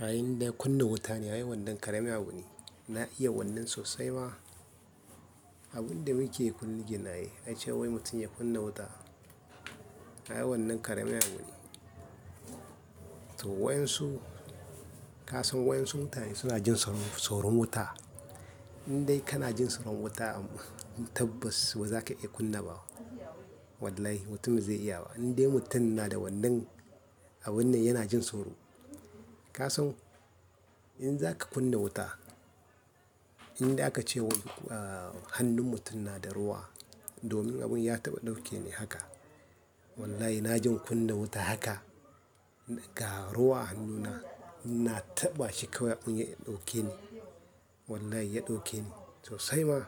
A indai kunna wuta ne, ai wannan ƙaramin abu ne. Na iya wannan sosai ma. Abin da muke kunne ginaye, ace wai mutum ya kunna wuta. Ai wannan ƙaramin abu ne to waɗansu-- ka san waɗansu mutane suna jin soro-- soron wuta. In dai kana jin soron wuta, tabbas ba za ka iya kunna ba. Wallahi, mutum zai iya wa. In dai mutum yana da wannan, a wannan yana jin soro. Ka san in zaka kunna wuta, in dai aka ce wa hannun mutum na da ruwa, domin abun ya taɓa ɗauke ni haka. Wallahi, na jin kunna wuta haka ga ruwa hannuna, ina taɓa shi kawai mun yi ɗauke ni. Wallahi ya ɗauke ni sosai ma.